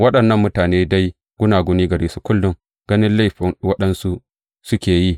Waɗannan mutane dai, gunaguni gare su, kullum ganin laifin waɗansu suke yi.